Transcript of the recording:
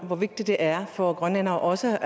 hvor vigtigt det er for grønlændere også